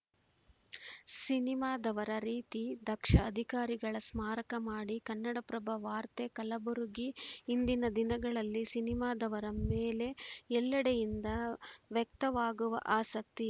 ಸಿನಿಮಾದವರ ರೀತಿ ದಕ್ಷ ಅಧಿಕಾರಿಗಳ ಸ್ಮಾರಕ ಮಾಡಿ ಕನ್ನಡಪ್ರಭ ವಾರ್ತೆ ಕಲಬುರಗಿ ಇಂದಿನ ದಿನಗಳಲ್ಲಿ ಸಿನಿಮಾದವರ ಮೇಲೆ ಎಲ್ಲೆಡೆಯಿಂದ ವ್ಯಕ್ತವಾಗುವ ಆಸಕ್ತಿ